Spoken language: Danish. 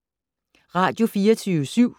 Radio24syv